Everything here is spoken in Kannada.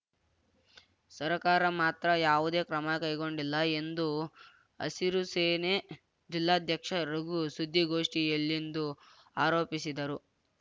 ಸರಕಾರ ಮಾತ್ರ ಯಾವುದೇ ಕ್ರಮ ಕೈಗೊಂಡಿಲ್ಲ ಎಂದು ಹಸಿರು ಸೇನೆ ಜಿಲ್ಲಾಧ್ಯಕ್ಷ ರಘು ಸುದ್ದಿಗೋಷ್ಠಿಯಲ್ಲಿಂದು ಆರೋಪಿಸಿದರು